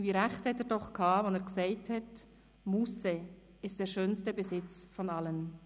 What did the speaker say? Wie recht hatte er doch, als er sagte: «Musse ist der schönste Besitz von allen.»